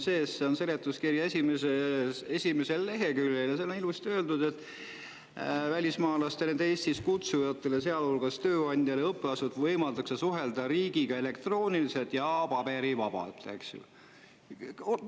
See on seletuskirja esimesel leheküljel ja seal on ilusti öeldud, et välismaalastel, nende Eestisse kutsujatel, sealhulgas tööandjal ja õppeasutusel, võimaldatakse suhelda riigiga elektrooniliselt ja paberivabalt.